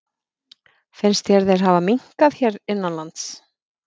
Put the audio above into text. Finnst þér þeir hafa minnkað hér innanlands?